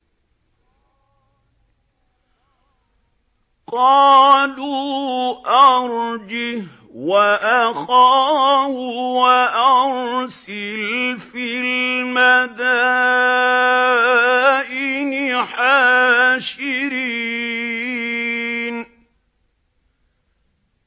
قَالُوا أَرْجِهْ وَأَخَاهُ وَأَرْسِلْ فِي الْمَدَائِنِ حَاشِرِينَ